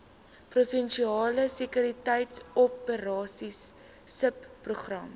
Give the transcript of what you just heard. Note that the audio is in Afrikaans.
provinsiale sekuriteitsoperasies subprogram